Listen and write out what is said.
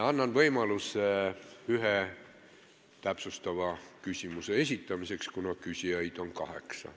Annan võimaluse ühe täpsustava küsimuse esitamiseks, kuna küsijaid on kaheksa.